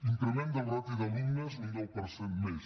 increment de la ràtio d’alumnes un deu per cent més